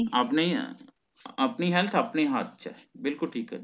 ਆਪਣੇ ਹੀ ਏ ਆਪਣੀ health ਆਪਣੇ ਹੱਥ ਚ ਬਿਲਕੁਲ ਠੀਕ ਆ